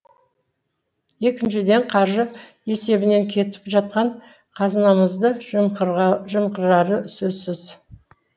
екіншіден қаржы есебінен кетіп жатқан қазынамызды жымқырары сөзсіз